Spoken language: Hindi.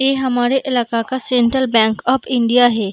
ये हमारे इलाके का सेंट्रल बैंक ऑफ़ इंडिया है।